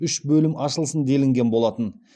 үш бөлім ашылсын делінген болатын